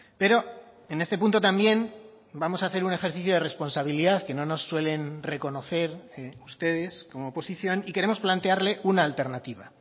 pero en este punto también vamos a hacer un ejercicio de responsabilidad que no nos suelen reconocer ustedes como oposición y queremos plantearle una alternativa